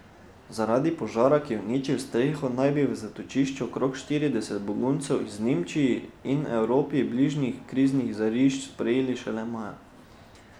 Zaradi požara, ki je uničil streho, naj bi v zatočišču okrog štirideset beguncev iz Nemčiji in Evropi bližnjih kriznih žarišč sprejeli šele maja.